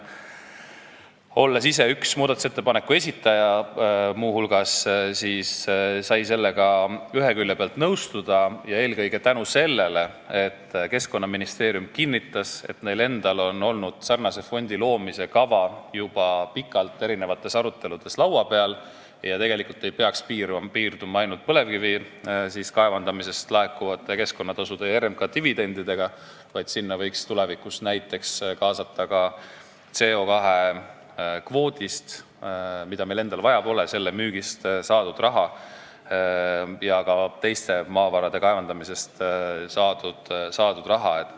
Olles ise üks muudatusettepaneku esitajaid, võin öelda, et sellega sai ühe külje pealt nõustuda, eelkõige seetõttu, et Keskkonnaministeerium kinnitas, et neil endal on olnud sarnase fondi loomise kava juba pikalt aruteludes laua peal ja tegelikult ei peaks see piirduma ainult põlevkivi kaevandamisest laekuvate keskkonnatasude ja RMK dividendidega, vaid sinna võiks tulevikus kaasata näiteks ka CO2 kvoodi müügist saadud raha ja ka teiste maavarade kaevandamisest saadud raha.